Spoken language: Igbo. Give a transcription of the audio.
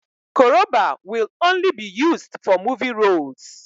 Koroba will only be used for movie roles